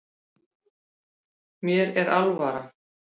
Mér er alvara